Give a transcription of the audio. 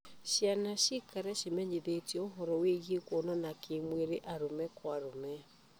Ciana ciikare cimenyithĩtio ũhoro wĩĩgiĩ kuonana kĩ mwĩrĩ arũme kwa arũme